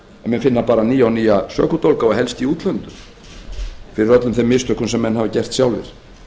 finna nýja og nýja sökudólga og helst í útlöndum fyrir öllum þeim mistökum sem þeir hafa gert sjálfir